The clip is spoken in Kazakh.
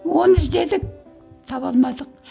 оны іздедік таба алмадық